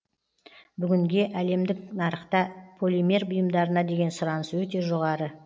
бүгінге әлемдік нарықта полимер бұйымдарына деген сұраныс өте жоғары